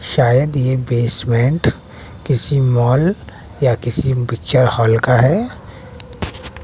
शायद ये बेसमेंट किसी मॉल या किसी पिक्चर हॉल का है।